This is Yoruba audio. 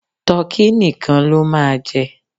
Tọkí nìkan ló máa jẹ.